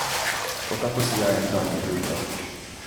O, kako sijajen dan je bil to.